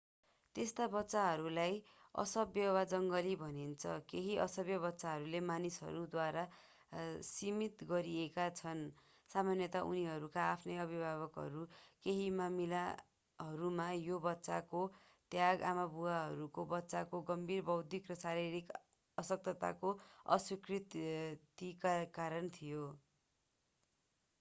त्यस्ता बच्चाहरूलाई असभ्य” वा जङ्गली भनिन्छ। केही असभ्य बच्चाहरू मानिसहरूद्वारा सीमित गरिएका छन् सामान्यतया उनीहरूका आफ्नै अभिभावकहरू केही मामीलाहरूमा यो बच्चाको त्याग आमाबुवाहरूको बच्चाको गम्भीर बौद्धिक वा शारीरिक अशक्तताको अस्वीकृतिका कारण थियो।